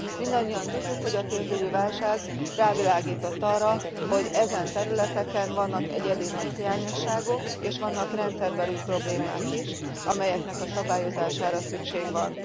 Mindannyian tudjuk, hogy a pénzügyi válság rávilágított arra, hogy ezen területeken vannak egyedi nagy hiányosságok, és vannak rendszerbeli problémák is, amelyeknek a szabályozására szükség van.